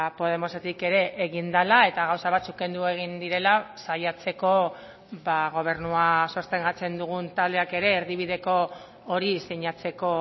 podemosetik ere egin dela eta gauza batzuk kendu egin direla saiatzeko gobernua sostengatzen dugun taldeak ere erdibideko hori sinatzeko